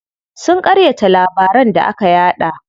Sun ƙaryata labaran da aka yaɗa.